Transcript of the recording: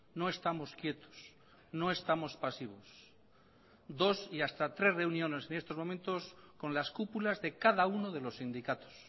no estamos quietos no estamos pasivos dos y hasta tres reuniones en estos momentos con las cúpulas de cada uno de los sindicatos